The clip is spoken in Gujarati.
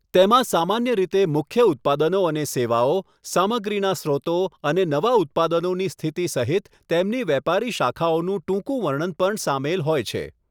તેમાં સામાન્ય રીતે મુખ્ય ઉત્પાદનો અને સેવાઓ, સામગ્રીના સ્રોતો, અને નવા ઉત્પાદનોની સ્થિતિ સહિત તેમની વેપારી શાખાઓનું ટૂંકું વર્ણન પણ સામેલ હોય છે.